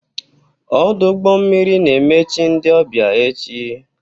Ọdụ ụgbọ mmiri na-emechi ndị ọbịa echi.